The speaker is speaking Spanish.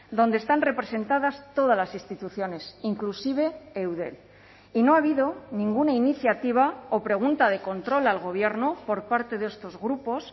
donde están representadas todas las instituciones inclusive eudel y no ha habido ninguna iniciativa o pregunta de control al gobierno por parte de estos grupos